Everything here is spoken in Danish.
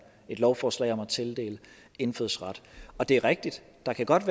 et lovforslag om at tildele indfødsret og det er rigtigt at der godt